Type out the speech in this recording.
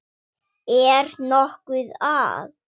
Er nokkuð að?